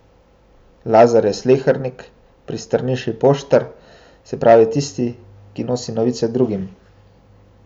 Lazar je slehernik, pri Strniši poštar, se pravi tisti, ki nosi novice drugim.